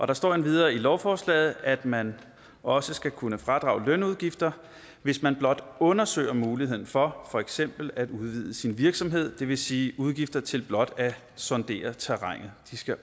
der står endvidere i lovforslaget at man også skal kunne fradrage lønudgifter hvis man blot undersøger muligheden for for eksempel at udvide sin virksomhed det vil sige at udgifter til blot at sondere terrænet